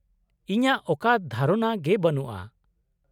-ᱤᱧᱟᱹᱜ ᱚᱠᱟ ᱫᱷᱟᱨᱚᱱᱟ ᱜᱮ ᱵᱟᱹᱱᱩᱜᱼᱟ ᱾